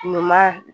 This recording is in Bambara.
Ɲuman